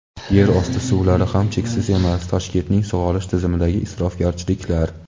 Yerosti suvlari ham cheksiz emas: Toshkentning sug‘orish tizimidagi isrofgarchiliklar.